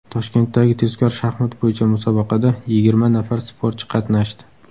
Toshkentdagi tezkor shaxmat bo‘yicha musobaqada yigirma nafar sportchi qatnashdi.